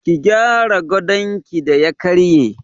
Ki gyara gadonki da ya karye.